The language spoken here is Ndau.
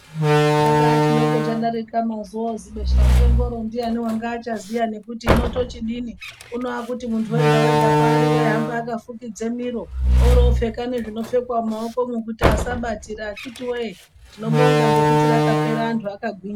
Chakaa chidokarika mazuva ose besha mupengo ndiani anga achaziya nokuti unotochi inini unohwa kuti muntu wega wega paari waihamba akafukidze miro opfeka nezvinopfekwa mumaokomo kuti asanatira achiti wee tinobonga nekuti rakapera vantu vakagwinya.